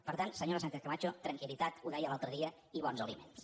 per tant senyora sánchez camacho tranquildeia l’altre dia i bons aliments